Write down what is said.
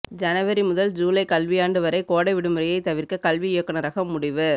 ஜனவரி முதல் ஜூலை கல்வியாண்டு வரை கோடை விடுமுறையை தவிர்க்க கல்வி இயக்குனரகம் முடிவு